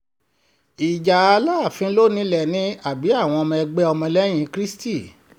ìjà alaafin ló nílé ni àbí àwọn ẹgbẹ́ ọmọlẹ́yìn kristi